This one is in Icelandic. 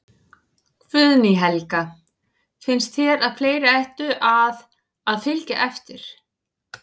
Guðný Helga: Finnst þér að fleiri ættu að, að fylgja eftir?